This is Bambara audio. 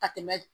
Ka tɛmɛ